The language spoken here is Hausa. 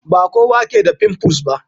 Ba kowa ke da pimples ba.